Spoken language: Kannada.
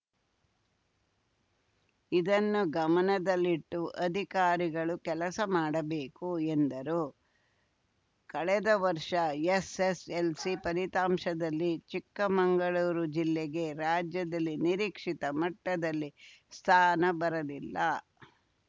ಇದನ್ನು ಗಮನದಲ್ಲಿಟ್ಟು ಅಧಿಕಾರಿಗಳು ಕೆಲಸ ಮಾಡಬೇಕು ಎಂದರು ಕಳೆದ ವರ್ಷ ಎಸ್‌ಎಸ್‌ಎಲ್‌ಸಿ ಫಲಿತಾಂಶದಲ್ಲಿ ಚಿಕ್ಕಮಂಗಳೂರು ಜಿಲ್ಲೆಗೆ ರಾಜ್ಯದಲ್ಲಿ ನಿರೀಕ್ಷಿತ ಮಟ್ಟದಲ್ಲಿ ಸ್ಥಾನ ಬರಲಿಲ್ಲ